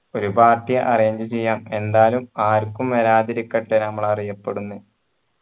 ഒരു party arrange ചെയാം എന്തായാലും ആർക്കും വരാതിരിക്കട്ടെ ഞമ്മൾ അറിയപെടുന്നേ